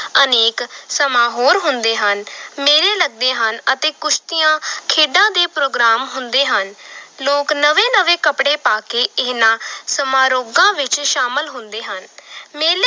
ਅਨੇਕ ਸਮਾਂ ਹੋਰ ਹੁੰਦੇ ਹਨ ਮੇਲੇ ਲੱਗਦੇ ਹਨ ਅਤੇੇ ਕੁਸ਼ਤੀਆਂ ਖੇਡਾਂ ਦੇ ਪ੍ਰੋਗਰਾਮ ਹੁੰਦੇ ਹਨ ਲੋਕ ਨਵੇਂ ਨਵੇਂ ਕੱਪੜੇ ਪਾ ਕੇ ਇਹਨਾਂ ਸਮਾਰੋਗਾਂ ਵਿੱਚ ਸ਼ਾਮਿਲ ਹੁੰਦੇ ਹਨ ਮੇਲੇ